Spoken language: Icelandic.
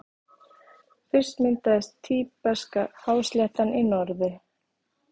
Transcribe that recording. Fyrst myndaðist Tíbeska-hásléttan í norðri.